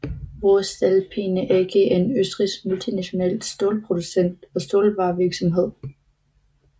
Voestalpine AG er en østrigsk multinational stålproducent og stålvarevirksomhed